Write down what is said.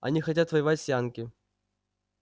они хотят воевать с янки